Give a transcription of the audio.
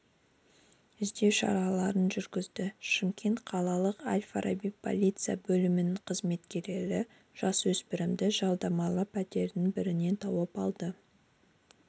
іздеу шараларын жүргізді шымкент қалалық әл-фараби полиция бөлімінің қызметкерлері жасөспірімді жалдамалы пәтерлердің бірінен тауып алды